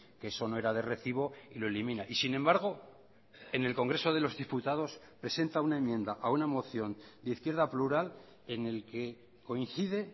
que eso no era de recibo y lo elimina y sin embargo en el congreso de los diputados presenta una enmienda a una moción de izquierda plural en el que coincide